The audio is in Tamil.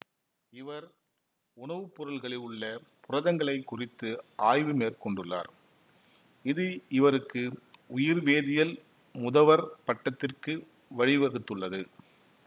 இவர் உணவுப்பொருள்களில் உள்ள புரதங்களைக் குறித்து ஆய்வு மேற்கொண்டுள்ளார் இது இவருக்கு உயிர்வேதியியல் முதவர் பட்டத்திற்கு வழிவகுத்துள்ளது